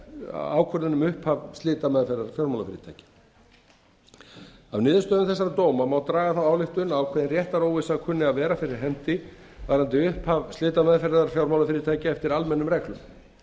ákvörðun um upphaf slitameðferðar fjármálafyrirtækja af niðurstöðum þessara dóma má draga þá ályktun að ákveðin réttaróvissa kunni að vera fyrir hendi varðandi upphaf slitameðferðar fjármálafyrirtækja eftir almennum reglum